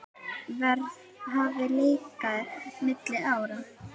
Verð hafi lækkað milli ára.